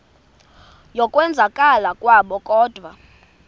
yokwenzakala kwabo kodwa